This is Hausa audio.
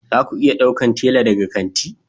Za ku iya ɗaukar tela daga kanti